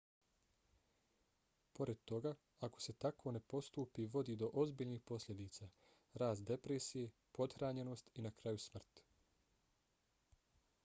pored toga ako se tako ne postupi vodi do ozbiljnih posljedica: rast depresije pothranjenost i na kraju smrt